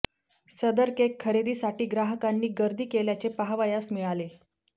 सदर केक खरेदीसाठी ग्राहकांनी गर्दी केल्याचे पहावयास मिळाले